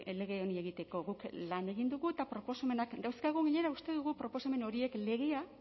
lege honi egiteko guk lan egin dugu eta proposamenak dauzkagu gainera uste dugu proposamen horiek legea